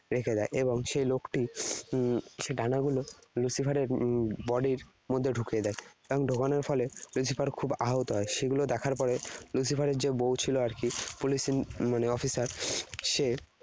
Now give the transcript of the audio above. রেখে দেয়। এবং সে লোকটি উম ডানাগুলো Lucifer এর body র মধ্যে ঢুকিয়ে দেয়। এবং ঢোকানোর ফলে Lucifer খুব আহত হয়। সেগুলো দেখার পরে Lucifer এর যে বউ ছিল আর কি, police মানে officer, সে